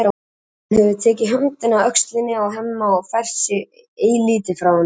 Hún hefur tekið höndina af öxlinni á Hemma og fært sig eilítið frá honum.